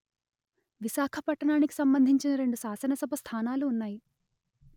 విశాఖ పట్టణానికి సంబంధించిన రెండు శాసన సభ స్థానాలు ఉన్నాయి